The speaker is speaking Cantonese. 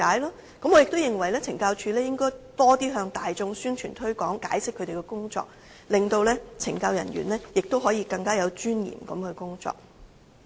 此外，我亦認為懲教署應該增強向大眾進行的宣傳和推廣，從而解釋他們的工作內容，使懲教人員可以更有尊嚴地工作。